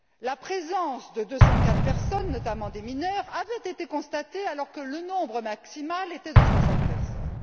La présence de 204 personnes, notamment des mineurs, avait été constatée alors que le nombre maximal était de 60 personnes.